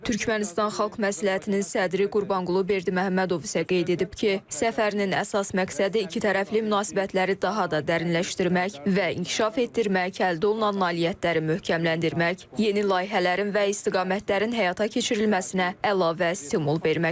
Türkmənistan Xalq Məsləhətinin sədri Qurbanqulu Berdiməhəmmədov isə qeyd edib ki, səfərinin əsas məqsədi ikitərəfli münasibətləri daha da dərinləşdirmək və inkişaf etdirmək, əldə olunan nailiyyətləri möhkəmləndirmək, yeni layihələrin və istiqamətlərin həyata keçirilməsinə əlavə stimul verməkdir.